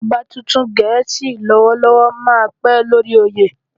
Ọba tuntun Gẹ̀ẹ́sì lọ́wọ́lọ́wọ́ máa pẹ́ lórí oyè.